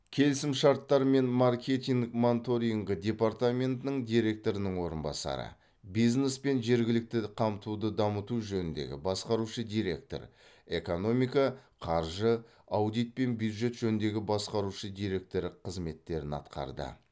келісімшарттар мен маркетинг монторингі департаментінің директорының орынбасары бизнес пен жергілікті қамтуды дамыту жөніндегі басқарушы директор экономика қаржы аудит пен бюджет жөніндегі басқарушы директор қызметтерін атқарды